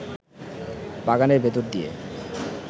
বাগানের ভেতর দিয়ে